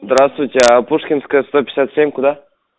здравствуйте а пушкинская сто пятьдесят семь куда